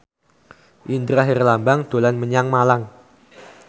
Indra Herlambang dolan menyang Malang